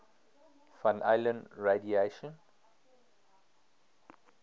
van allen radiation